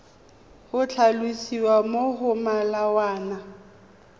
go tlhalosiwa mo go molawana